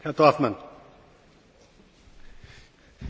Ich habe nicht gesagt, dass ich gegen kurze Ketten bin.